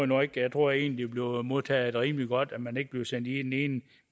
nu ikke jeg tror egentlig bliver modtaget rimelig godt at man ikke bliver sendt i den ene